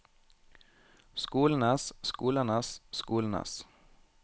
skolenes skolenes skolenes